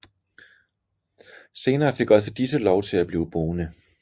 Senere fik også disse lov til at blive boende